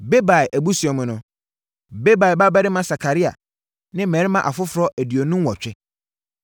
Bebai abusua mu no: Bebai babarima Sakaria ne mmarima afoforɔ aduonu nwɔtwe.